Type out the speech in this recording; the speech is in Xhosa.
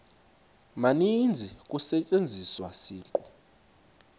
maninzi kusetyenziswa isiqu